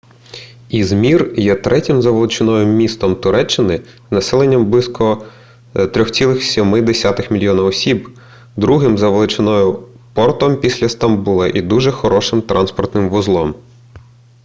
ізмір є третім за величиною містом туреччини з населенням близько 3,7 мільйона осіб другим за величиною портом після стамбула і дуже хорошим транспортним вузлом